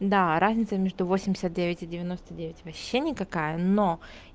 да разница между восемьдесят девять и девяносто девять вообще никакая но